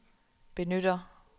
benytter